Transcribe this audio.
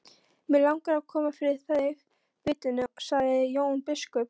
Mig langar að koma fyrir þig vitinu, sagði Jón biskup.